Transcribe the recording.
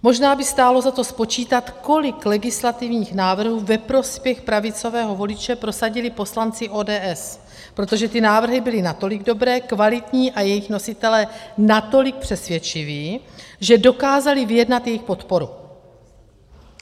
Možná by stálo za to spočítat, kolik legislativních návrhů ve prospěch pravicového voliče prosadili poslanci ODS, protože ty návrhy byly natolik dobré, kvalitní a jejich nositelé natolik přesvědčiví, že dokázali vyjednat jejich podporu.